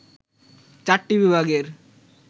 চারটি বিভাগের